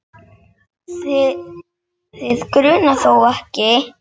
Þig grunar þó ekki?.